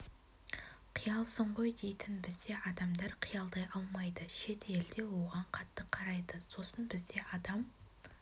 қиялсың ғой дейтін бізде адамдар қиялдай алмайды шет елде оған қатты қарайды сосын бізде адам